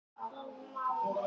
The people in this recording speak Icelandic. Jarðskorpuhreyfingar og landrek